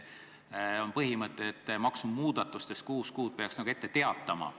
On põhimõte, et maksumuudatustest peaks kuus kuud ette teatama.